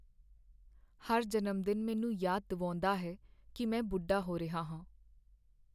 ਹਰ ਜਨਮ ਦਿਨ ਮੈਨੂੰ ਯਾਦ ਦਿਵਾਉਂਦਾ ਹੈ ਕੀ ਮੈਂ ਬੁੱਢਾ ਹੋ ਰਿਹਾ ਹਾਂ।